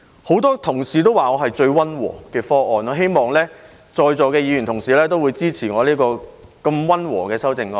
很多同事說我的方案最溫和，我希望在座的同事會支持我這項溫和的修正案。